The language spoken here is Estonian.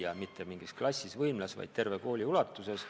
Ja seda mitte ainult võimlas või mõnes klassis, vaid terve kooli ulatuses.